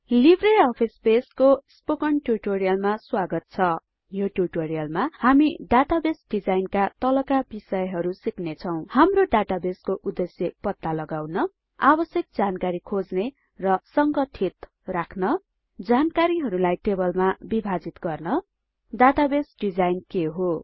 Libre office बेसको spoken ट्युटोरियलमा स्वागत छ यो ट्युटोरियलमा हामी डाटाबेस डिजाइनका तलका बिषयहरु सिक्नेछौं हाम्रो डाटाबेसको उद्देश्य पत्ता लगाउन आवश्यक जानकारी खोज्ने र संगठित राख्न जानकारीलाई टेबलमा विभाजित गर्न डाटाबेस डिजाइन के हो